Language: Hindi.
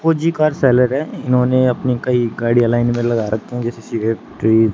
फौजी का सेलर है इन्होंने अपनी कई गाड़ियां लाइन में लगा रखी हैं जैसे --